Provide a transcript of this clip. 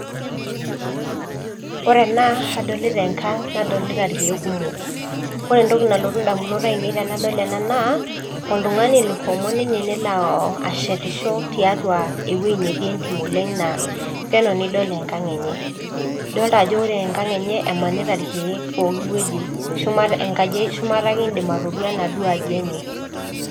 koree enaa nadolita enkang naadolita irkek kumok koree entoki naalootu indamunot ainei tenadol enaa naa oltungani loshomo ninye neloo ashietisho tiatua ewuei natii entim oleng na penyoo nidol enkang enye idolita enkang enye ajoo kemaata irkek pooki wueji shumata akee idiim atodua enaduo aji enye.